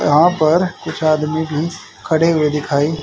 यहां पर कुछ आदमी भी खड़े हुए दिखाई--